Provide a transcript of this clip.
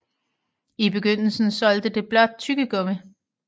I begyndelsen solgte det blot tyggegummi